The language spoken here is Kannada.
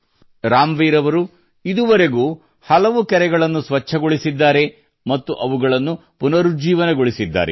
ರಾಮ್ವೀರ್ ಅವರು ಇದುವರೆಗೂ ಹಲವು ಕೆರೆಗಳನ್ನು ಸ್ವಚ್ಛಗೊಳಿಸಿದ್ದಾರೆ ಮತ್ತು ಅವುಗಳನ್ನು ಪುನರುಜ್ಜೀವಗೊಳಿಸಿದ್ದಾರೆ